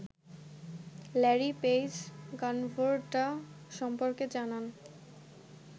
Larry Page Gundotra সম্পর্কে জানান